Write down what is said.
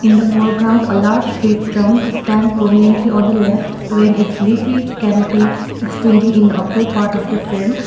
the foreground a large tree trunk stands prominently on the left when its leafy canopy extending in upper part of the frame.